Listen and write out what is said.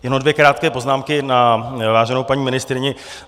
Jenom dvě krátké poznámky na váženou paní ministryni.